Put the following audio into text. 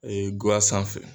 Ee ŋa sanfɛ